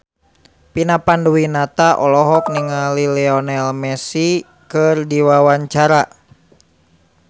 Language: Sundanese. Vina Panduwinata olohok ningali Lionel Messi keur diwawancara